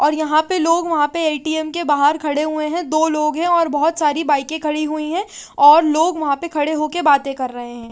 और यहाँ पे लोग वहाँ पर ए_टी_एम के बहार खड़े हुए है दो लोग है और बोहोत साड़ी बाइके खड़ी हुई है और लोग वहाँ पर खड़े हो कर बाते कर रहे है।